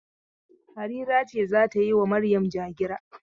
Halira ce za ta yi wa Maryam ja-gira.